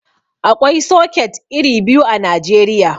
Aƙwai soket iri biyu a Najeriya.